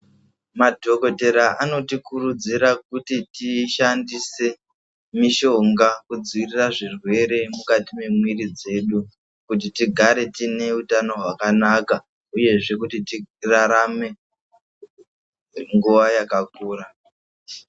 Madhokodhera anotikurudzira kuti tiishandise mishonga kudzivirira zvirwere mukati mwemwiri dzedu kuti tigare tine utano hwakanaka uyezve kuti tirarame nguwa yakakura.